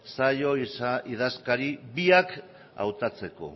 zaio idazkari biak hautatzeko